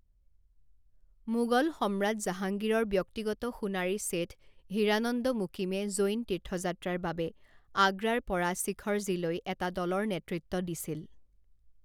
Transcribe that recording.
মোগল সম্ৰাট জাহাংগীৰৰ ব্যক্তিগত সোণাৰী শেঠ হিৰাানন্দ মুকিমে জৈন তীৰ্থযাত্ৰাৰ বাবে আগ্ৰাৰ পৰা শিখৰজীলৈ এটা দলৰ নেতৃত্ব দিছিল।